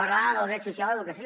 parlar del dret social i educació